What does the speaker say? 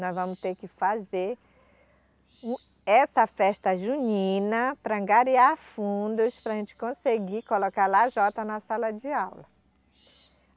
Nós vamos ter que fazer o essa festa junina para angariar fundos para a gente conseguir colocar lajota na sala de aula.